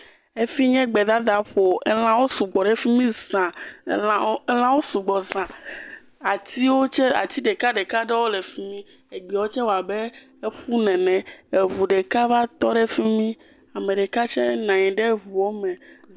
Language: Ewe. Efi nye gbedadaƒo. Elãwo sugbɔ ɖe fi mi zaa. Elãwo elãwo sugbɔ zã. Atiwo tse, ati ɖekaɖeka ɖewo le fi mi. Egbewo tse wɔ abe eƒu nene. Eŋu ɖeka va tɔ ɖe fi mi. Ame ɖeka tse nɔ anyi ɖe ŋua me.